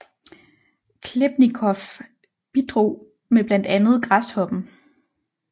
Khlebnikov bidrog med blandt andet Græshoppen